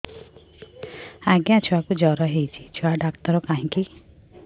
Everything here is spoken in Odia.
ଆଜ୍ଞା ଛୁଆକୁ ଜର ହେଇଚି ଛୁଆ ଡାକ୍ତର କାହିଁ କି